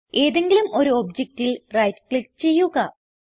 ഏതെങ്കിലും ഒരു ഒബ്ജക്റ്റിൽ റൈറ്റ് ക്ലിക്ക് ചെയ്യുക